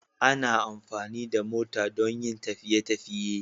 Ana amfani da mota don yin tafiye tafiye